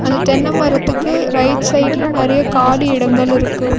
இந்த தென்ன மரத்துக்கு ரைட் சைடுல நறைய காலி இடங்கள் இருக்கு.